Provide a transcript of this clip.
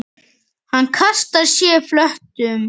Hann kastar sér flötum.